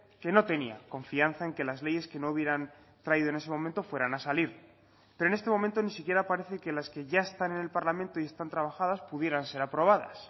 que no tenía confianza en que las leyes que no hubieran traído en ese momento fueran a salir pero en este momento ni siquiera parece que las que ya están en el parlamento y están trabajadas pudieran ser aprobadas